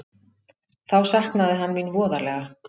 Þá saknaði hann mín voðalega.